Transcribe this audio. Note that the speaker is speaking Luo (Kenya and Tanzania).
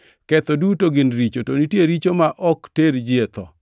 Ketho duto gin richo, to nitie richo ma ok ter ji e tho.